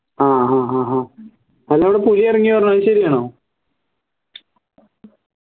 ആഹ് ഹഹ അന്റെവിടെ പുലി ഇറങ്ങിന്ന് പറഞ്ഞു അത് ശരിയാണോ